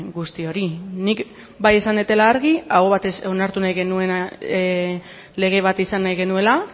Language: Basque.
guzti hori nik bai esan dudala argi aho batez onartu nahi genuena lege bat izan nahi genuela